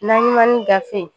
Naɲumani gafe